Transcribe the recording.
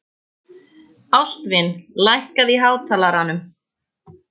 Ástvin, lækkaðu í hátalaranum.